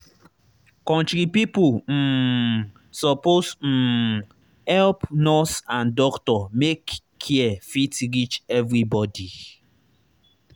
country pipo um suppose um help nurse and doctor make care fit reach everybody.